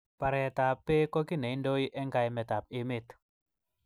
Baret ab bek ko ki neindoi eng kaimet ab emet.